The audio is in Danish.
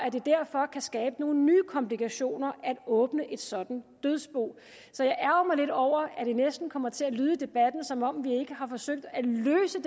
derfor kan skabe nogle nye komplikationer at åbne et sådant dødsbo så jeg ærgrer mig lidt over at det næsten kommer til at lyde i debatten som om vi ikke har forsøgt at løse